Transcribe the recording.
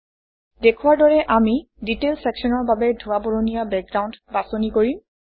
দেখুওৱাৰ দৰে আমি ডিটেইল চেকশ্যনৰ বাবে ধোঁৱা বৰণীয়া বেকগ্ৰাউণ্ড বাছনি কৰিম